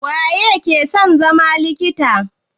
Waye ke son zama likita?